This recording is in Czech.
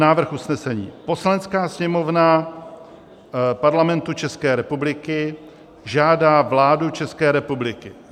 Návrh usnesení: "Poslanecká sněmovna Parlamentu České republiky žádá vládu České republiky